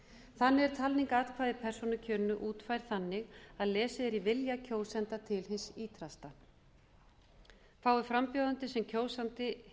þannig er talning atkvæða í persónukjörinu útfærð þannig að lesið er í vilja kjósenda til hins ýtrasta fái frambjóðandi sem kjósandi